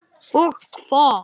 Og hvað?